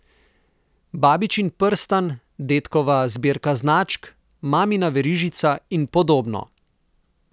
Babičin prstan, dedkova zbirka značk, mamina verižica in podobno.